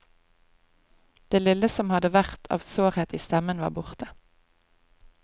Det lille som hadde vært av sårhet i stemmen var borte.